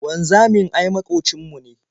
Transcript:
Wanzamin ai maƙocin mu ne.